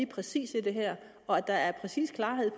præcise i det her og at der er præcis klarhed